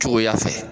Cogoya fɛ